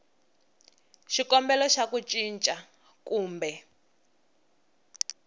xikombelo xa ku cinca kumbe